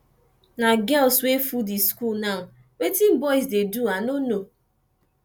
na girls wey full the school now wetin boys dey do i no know